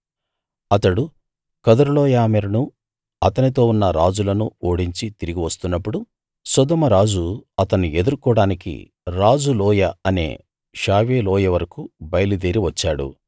అతడు కదొర్లాయోమెరును అతనితో ఉన్న రాజులను ఓడించి తిరిగి వస్తున్నప్పుడు సొదొమ రాజు అతన్ని ఎదుర్కోడానికి రాజు లోయ అనే షావే లోయ వరకూ బయలుదేరి వచ్చాడు